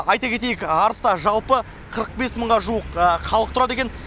айта кетейік арыста жалпы қырық бес мыңға жуық халық тұрады екен